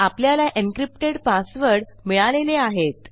आपल्याला encrypted password मिळालेले आहेत